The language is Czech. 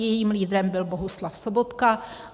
Jejím lídrem byl Bohuslav Sobotka.